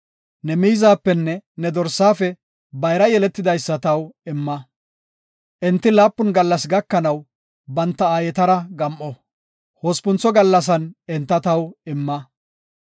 Ne miizapenne ne dorsaafe bayra yeletidaysa taw imma. Enti laapun gallas gakanaw, banta aayetara gam7o; hospuntho gallasan enta taw imma.